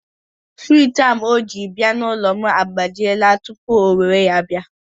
Suwich o jiri bịa n'ụlọ m agbajiela tupu o were ya bịa.